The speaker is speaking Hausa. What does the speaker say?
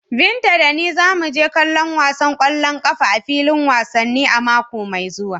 Binta da ni za mu je kallon wasan kwallon kafa a filin wasanni a mako mai zuwa.